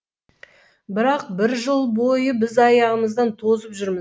бірақ бір жыл бойы біз аяғымыздан тозып жүрміз